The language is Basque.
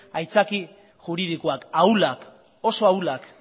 haitzaki juridikoak ahulak oso ahulak